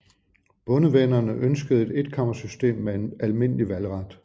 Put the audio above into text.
Bondevennerne ønskede et etkammersystem med almindelig valgret